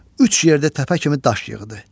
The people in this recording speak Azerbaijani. Üç yerdə təpə kimi daş yığdı.